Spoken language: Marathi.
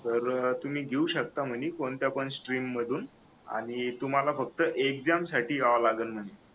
तर तुम्ही घेऊ शकता म्हणे कोणत्या पण स्ट्रीम मधून आणि तुम्हाला फक्त एक्झाम साठी यावं लागल म्हणे